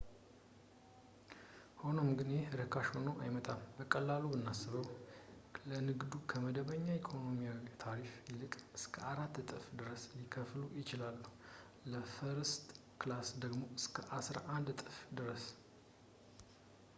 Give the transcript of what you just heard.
ሆኖም ግን ይህ ርካሽ ሆኖ አይመጣም በቀላሉ ብናስበው ለንግዱ ከመደበኛው የኢኮኖሚ ታሪፍ ይልቅ እስከ አራት እጥፍ ድረስ ሊከፍሉ ይችላሉ ለፈርስት ክላስ ደግሞ እስከ አስራ አንድ እጥፍ ድረስ